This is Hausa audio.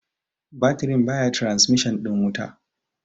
batirin baya trasmishin ɗin wuta